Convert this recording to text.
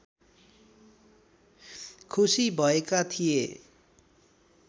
खुसी भएका थिए